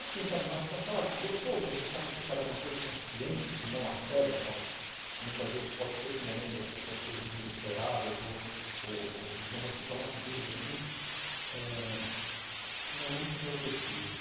Assim, sabe, mais com aquela... Gostoso, você sabe que está encarando uma coisa consciente e não a cega, só... Muitas vezes pode ser que em momentos as pessoas estejam desesperadas ou ou... Ou ou... Então você toma atitudes assim... É... Não é muito do meu feitio.